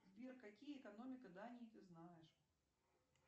сбер какие экономика дании ты знаешь